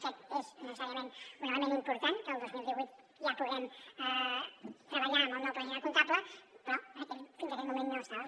aquest és necessàriament un element important que el dos mil divuit ja puguem treballar amb el nou pla general comptable però fins aquell moment no estava